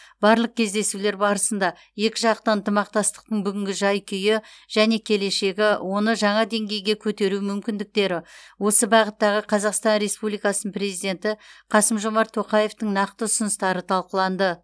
барлық кездесулер барысында екіжақты ынтымақмастықтың бүгінгі жай күйі және келешегі оны жаңа деңгейге көтеру мүмкіндіктері осы бағыттағы қазақстан республикасы президенті қасым жомарт тоқаевтың нақты ұсыныстары талқыланды